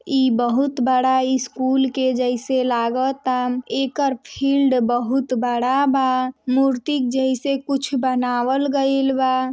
ई बहुत बड़ा स्कूल के जैसे लागत आ एकर फील्ड बहुत बड़ा बा मूर्ति जैसा कुछ बनाबल गईल बा ।